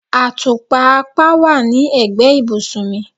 Atupa apá wá ní egbe ibùsùn mì